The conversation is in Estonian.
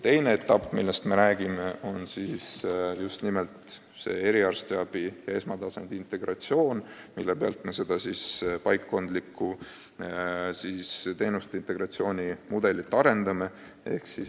Teine etapp, millest me räägime, peab silmas eriarstiabi ja esmatasandi arstiabi integratsiooni, milleks me seda paikkondlikku teenuste integratsiooni mudelit arendame.